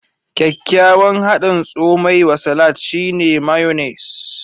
Kyakkyawan hadin tsomai wa salat, shine mayonnaise.